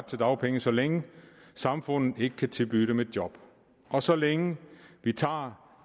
til dagpenge så længe samfundet ikke kan tilbyde dem et job og så længe de tager